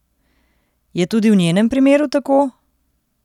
Je tudi v njenem primeru tako?